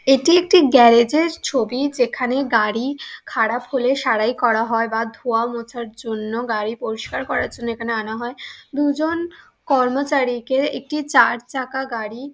এটি একটি গ্যারেজের ছবি যেখানে গাড়ি খারাপ হলে সারাই করা হয় বা ধোয়া মোছার জন্য গাড়ি পরিষ্কার করার জন্য এখানে আনা হয়। দুজন কর্মচারীকে একটি চার চাকা গাড়ি--